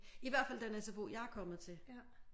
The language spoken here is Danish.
I hvert fald den sfo jeg er kommet til